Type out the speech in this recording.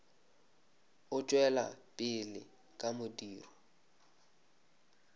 o tšwela pele ka modiro